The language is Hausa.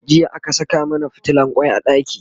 jiya aka Saka mana fitilan kwai a ɗaki